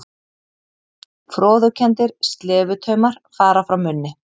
Froðukenndir slefutaumar fara frá munni.